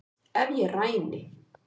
Ef ég ræni